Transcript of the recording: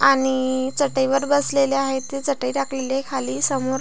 आणि चटईवर बसलेले आहे ते चटई टाकलेली आहे खाली समोर.